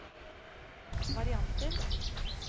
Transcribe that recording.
varianter